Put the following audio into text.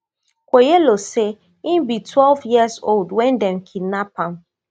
kwoyelo say e be twelve years old wen dem kidnap am